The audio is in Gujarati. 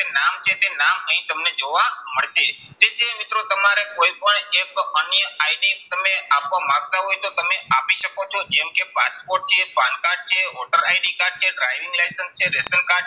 નામ છે તે નામ અહીં તમને જોવા મળશે. તે સિવાય મિત્રો તમારે કોઈ હોય એક અન્ય ID તમે આપવા માંગતા હોય તો તમે આપી શકો છો. જેમ કે પાસપોર્ટ છે, PAN કાર્ડ છે, voter ID કાર્ડ છે, driving licence છે ration કાર્ડ છે,